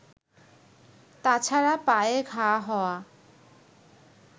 তাছাড়া পায়ে ঘা হওয়া